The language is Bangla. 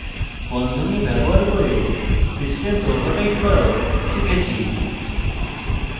বন্ধনী ব্যবহার করে precedence ওভাররাইট করাও শিখেছি